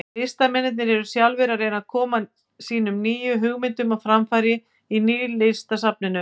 Listamennirnir eru sjálfir að reyna að koma sínum nýju hugmyndum á framfæri í Nýlistasafninu.